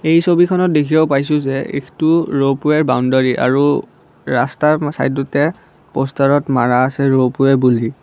এই ছবিখনত দেখিব পাইছোঁ যে এইটো ৰ'পৱে বাউণ্ডৰী আৰু ৰাস্তাৰ চাইডতে পষ্টাৰত মৰা আছে ৰ'পৱে বুলি।